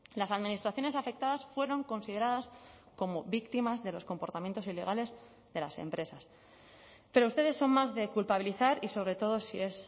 las administraciones afectadas fueron consideradas como víctimas de los comportamientos ilegales de las empresas pero ustedes son más de culpabilizar y sobre todo si es